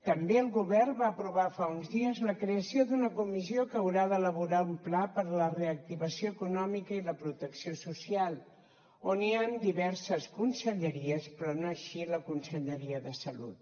també el govern va aprovar fa uns dies la creació d’una comissió que haurà d’elaborar un pla per a la reactivació econòmica i la protecció social on hi han diverses conselleries però no així la conselleria de salut